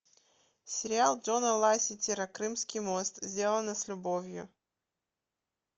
сериал джона ласетира крымский мост сделано с любовью